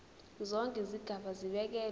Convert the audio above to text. zonke izigaba zibekelwe